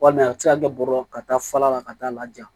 Walima a bɛ se ka kɛ bɔrɔ ka taa fala la ka taa laja